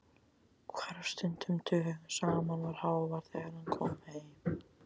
Hvarf stundum dögum saman, var hávær þegar hann kom heim.